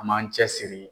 An m'an cɛsiri